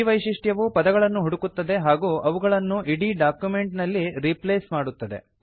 ಈ ವೈಶಿಷ್ಟ್ಯವು ಪದಗಳನ್ನು ಹುಡುಕುತ್ತದೆ ಹಾಗೂ ಅವುಗಳನ್ನು ಇಡೀ ಡಾಕ್ಯುಮೆಂಟ್ ನಲ್ಲಿ ರೀಪ್ಲೇಸ್ ಮಾಡುತ್ತದೆ